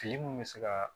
Fili mun bɛ se ka